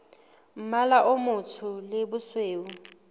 mmala o motsho le bosweu